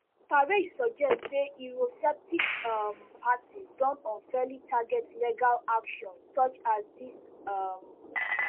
farage suggest say eurosceptic um parties don unfairly target legal action such as dis um